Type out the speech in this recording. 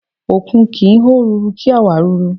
Òkun kì ń hó ruru, kí á wàá ruru.